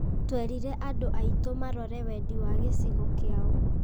Twerire andũ aitũ marore wendi wa gĩcigo kĩao.